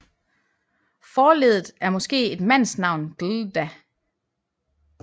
Forleddet er måske et mandsnavn glda